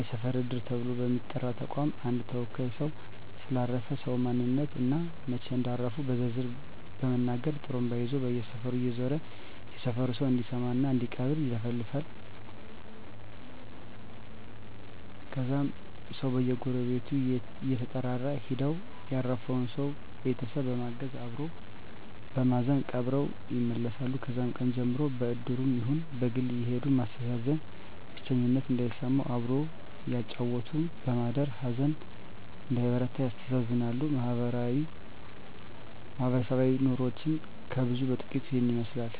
የሰፈር እድር ተብሎ በሚጠራ ተቋም አንድ ተወካይ ሰው ስለ አረፈ ሰው ማንነት እና መች እንዳረፉ በዝርዝር በመናገር ጡሩምባ ይዞ በየሰፈሩ እየዞረ የሰፈሩ ሰው እንዲሰማ እና እንዲቀብር ይለፍፋል ከዛም ሰው በየጎረቤቱ እየተጠራራ ሄደው ያረፈውን ሰው ቤተሰብ በማገዝ አበሮ በማዘን ቀብረው ይመለሳሉ ከዛም ቀን ጀምሮ በእድሩም ይሁን በግል አየሄዱ ማስተዛዘን ብቸኝነት እንዳይሰማም አብሮ እያጫወቱ በማደር ሀዘን እንዳይበረታ ያስተዛዝናሉ ማህበረሰባዊ ኑሮችን ከብዙ በጥቂቱ ይህን ይመስላል